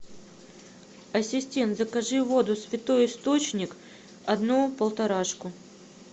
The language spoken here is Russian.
ассистент закажи воду святой источник одну полторашку